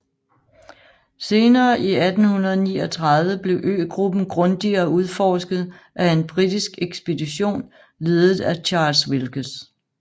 Senere i 1839 blev øgruppen grundigere udforsket af en britisk ekspedition ledet af Charles Wilkes